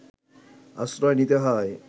আশ্রয় নিতে হয়